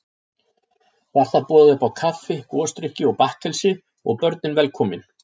Var þar boðið uppá kaffi, gosdrykki og bakkelsi, og börnin velkomin.